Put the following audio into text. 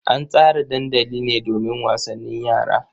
An tsara dandali ne domin wasannin yara.